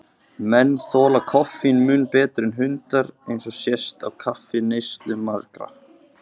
Menn þola koffín mun betur en hundar, eins og sést á kaffineyslu margra.